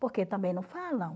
Porque também não falam.